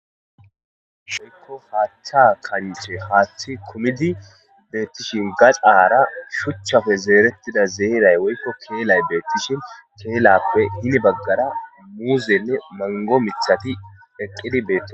shoykko haathcha kanixe haaththi kumidi beettishin gaxaara shuchchafe zeerettida zeeray woykko keelay beettishin keelappe hini baggara muuzenne mango mithati eqqidi beee